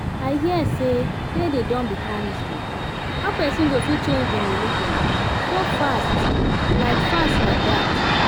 i hear say dede don become muslim how person go fit change im religion so fast like fast like that?